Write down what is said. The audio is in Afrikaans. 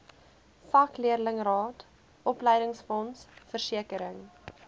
vakleerlingraad opleidingsfonds versekering